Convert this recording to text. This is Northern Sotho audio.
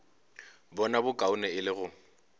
bona bokaone e le go